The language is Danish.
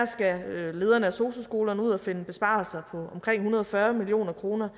skal lederne på sosu skolerne ud at finde besparelser på omkring en hundrede og fyrre million kroner